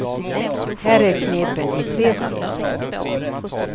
Här är knepen i tre steg.